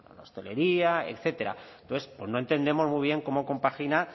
la hostelería etcétera entonces no entendemos muy bien cómo compagina